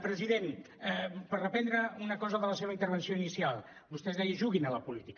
president per reprendre una cosa de la seva intervenció inicial vostè deia juguin a la política